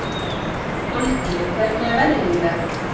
Olgeir, hvernig er veðrið í dag?